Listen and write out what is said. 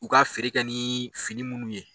U ka feere kɛ ni fini munnu ye